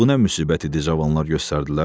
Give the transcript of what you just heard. Bu nə müsibət idi cavanlar göstərdilər?